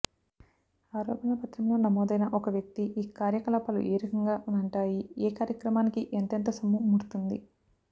ఆరోపణల పత్రంలో నమోదైన ఒక వ్యక్తి ఈ కార్య కలాపాలు ఏరకంగా వ్ఞంటాయి ఏ కార్యక్రమానికి ఎంతెంతసొమ్ము ముడుతుంది